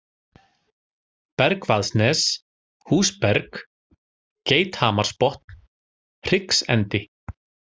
Bergvaðsnes, Húsberg, Geithamarsbotn, Hryggsendi